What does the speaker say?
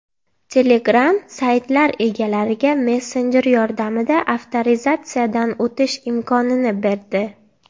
Telegram saytlar egalariga messenjer yordamida avtorizatsiyadan o‘tish imkonini berdi.